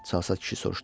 Çalsaz kişi soruşdu.